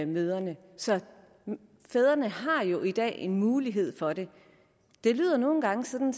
mødrene så fædrene har jo i dag en mulighed for det det lyder nogle gange som